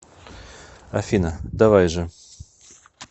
афина давай же